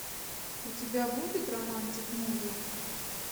у тебя будет романтик муви